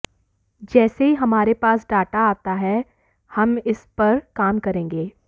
जैसे ही हमारे पास डाटा आता है हम इस पर काम करेंगे